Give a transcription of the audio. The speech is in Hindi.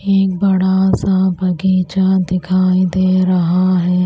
एक बड़ा सा बगीचा दिखाई दे रहा है।